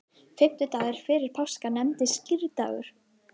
Fimmtudagur fyrir páska nefnist skírdagur.